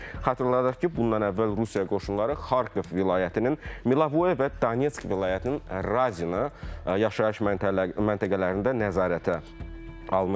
Xatırladaq ki, bundan əvvəl Rusiya qoşunları Xarkov vilayətinin Milovoye və Donets vilayətinin Radina yaşayış məntəqələrində nəzarətə almışdır.